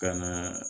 Ka na